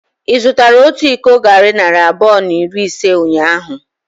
Ị zụtara otu iko garri narị abụọ na iri ise ụnyahụ?